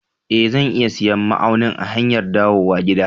E, zan iya siyan ma'aunin a hanyar dawowa gida.